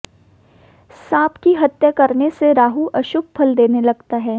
सांप की हत्या करने से राहु अशुभ फल देने लगता है